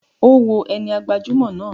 O wo ẹni gbajumọ náà.